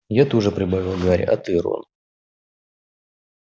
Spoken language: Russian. я тоже прибавил гарри а ты рон